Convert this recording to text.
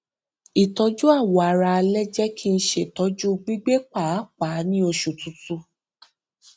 ìtọjú awọ ara alẹ jẹ kí n ṣètọjú gbígbẹ pàápàá ní oṣù tutù